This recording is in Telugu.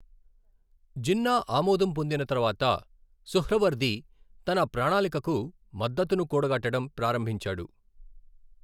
జిన్నా ఆమోదం పొందిన తర్వాత, సుహ్రావర్ది తన ప్రణాళికకు మద్దతును కూడగట్టడం ప్రారంభించాడు.